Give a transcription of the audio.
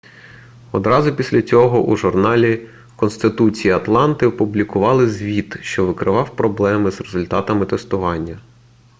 одразу після цього у журналі-конституції атланти опублікували звіт що викривав проблеми з результатами тестування